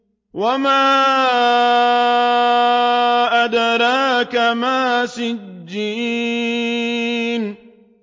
وَمَا أَدْرَاكَ مَا سِجِّينٌ